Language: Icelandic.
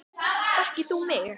Þekkir þú mig?